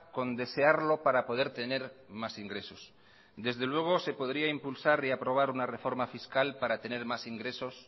con desearlo para poder tener más ingresos desde luego se podría impulsar y aprobar una reforma fiscal para tener más ingresos